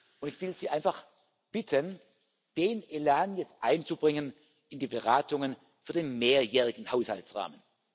Und ich will Sie einfach bitten, den Elan jetzt einzubringen in die Beratungen für den mehrjährigen Haushaltsrahmen.